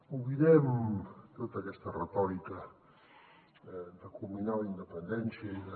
oblidem tota aquesta retòrica de culminar la independència i de